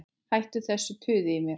Hættu þessu tuði í mér.